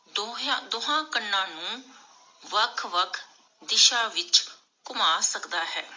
ਦੋਹਿਆਂ ਦੋਹਾਂ ਕੰਨਾਂ ਨੂੰ ਵੱਖ ਵੱਖ ਦਿਸ਼ਾ ਵਿਚ ਘੁਮਾ ਸਕਦਾ ਹੈ।